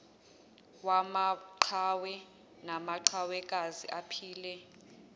wamaqhawe namaqhawekazi aphile